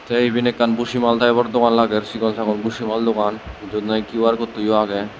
te eben ekkan bujimal type or dogan lager sigonsagon busimal dogan jiyot nahi Q_R code yo agey.